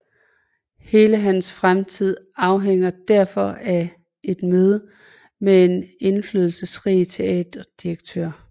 Hele hans fremtid afhænger derfor af et møde med en indflydelsesrig teaterdirektør